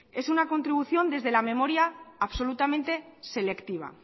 es una contribución desde la memoria absolutamente selectiva